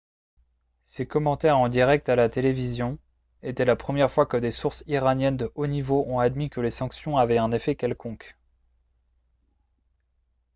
ces commentaires en direct à la télévision étaient la première fois que des sources iraniennes de haut niveau ont admis que les sanctions avaient un effet quelconque